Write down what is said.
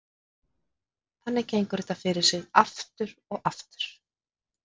Þannig gengur þetta fyrir sig aftur og aftur.